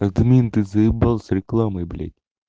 админ ты заебал с рекламой блять